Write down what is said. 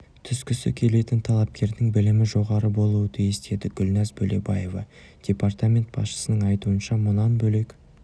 түскісі келетін талапкердің білімі жоғары болуы тиіс деді гүлназ бөлебаева департамент басшысының айтуынша мұнан бөлек